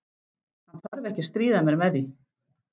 Hann þarf ekki að stríða mér með því.